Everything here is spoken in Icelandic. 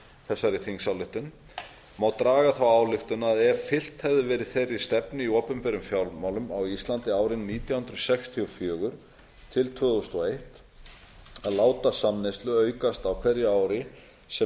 þessari þingsályktun má draga þá ályktun að ef fylgt hefði verið þeirri stefnu í opinberum fjármálum á íslandi árin nítján hundruð sextíu og fjögur til tvö þúsund og eitt að láta samneyslu aukast á hverju ári sem